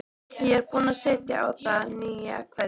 Ég er búin að setja á það nýja keðju